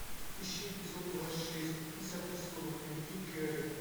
ищи эпизод двадцать шесть десятого сезона дневники кэрри